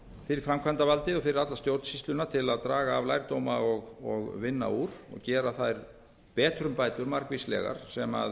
fyrir framkvæmdavaldið og fyrir alla stjórnsýsluna til að draga af lærdóma og vinna úr og gera þær betrumbætur margvíslegar sem